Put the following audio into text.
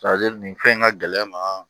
nin fɛn in ka gɛlɛ ma